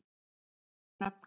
fleiri nöfn